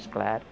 claro.